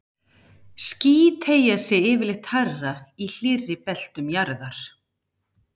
Ský teygja sig yfirleitt hærra í hlýrri beltum jarðar.